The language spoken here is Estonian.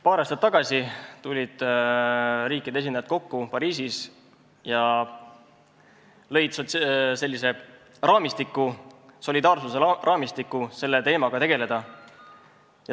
Paar aastat tagasi tulid riikide esindajad Pariisis kokku ja leidsid solidaarsuse raamistiku, kuidas selle teemaga tegeleda.